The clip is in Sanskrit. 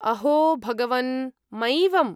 अहो भगवन्! मैवम्!